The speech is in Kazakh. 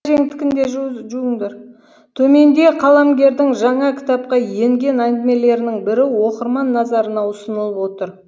төменде қаламгердің жаңа кітапқа енген әңгімелерінің бірі оқырман назарына ұсынылып отыр